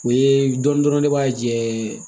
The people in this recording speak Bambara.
O ye dɔnni dɔrɔn de b'a jɛ